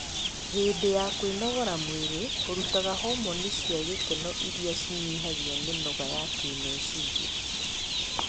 Hĩndĩ ya kwĩnogora mwĩrĩ ũrutaga homoni cia gĩkeno irĩa cinyihagia mĩnoga ya kĩmeciria